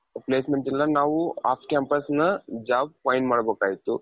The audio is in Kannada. placement ಇಲ್ಲ ನಾವು off campusನ job find ಮಾಡ್ಬೇಕಾಗಿತ್ತು.